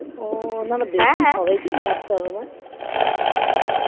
না না বেশি সবাইকে নিয়ে আসতে হবে না